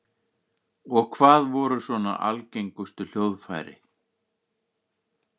Og hvað voru svona algengustu hljóðfæri?